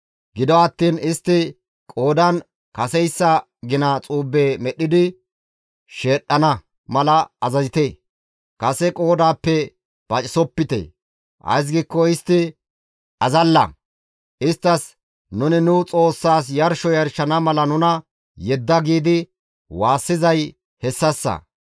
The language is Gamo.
Gido attiin istti qoodan kaseyssa gina xuube medhdhidi sheedhdhana mala azazite; kase qoodaappe pacisopite; ays giikko istti azalla; isttas, ‹Nuni nu Xoossaas yarsho yarshana mala nuna yedda› giidi waassizay hessassa.